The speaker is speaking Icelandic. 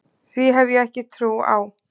Því hef ég ekki trú á.